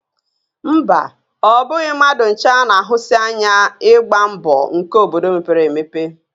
Mba, ọ bụghị mmadụ ncha na-ahụsi ányá ịgba mbọ nkè obodo mepere emepe